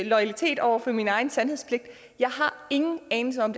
loyalitet over for min egen sandhedspligt jeg har ingen anelse om